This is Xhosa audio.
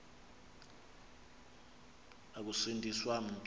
ukusindi swa mntu